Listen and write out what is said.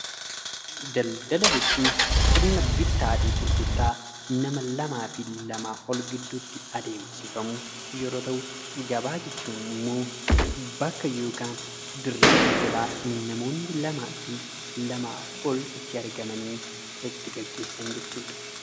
Daldala jechuun sirna bittaafi gurgurtaa nama lamaafi lamaa ol gidduutti adeemsifamu yeroo ta'u, gabaa jechuun ammoo bakka yookaan dirree daldalaa namoonni lamaafi lamaa ol itti argamanii itti gaggeessan jechuudha.